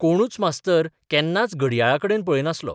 कोणूच मास्तर केन्नाच घडयाळाकडेन पळयनासलो.